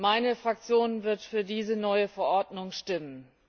Meine Fraktion wird für diese neue Verordnung stimmen.